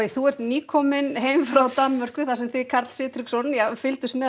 þú ert nýkominn frá Danmörku þar sem þið Karl Sigtryggsson fylgdust með